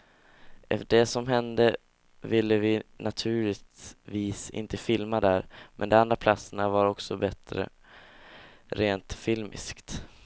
Efter det som hände ville vi naturligtvis inte filma där, men de andra platserna var också bättre rent filmiskt.